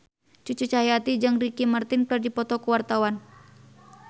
Cucu Cahyati jeung Ricky Martin keur dipoto ku wartawan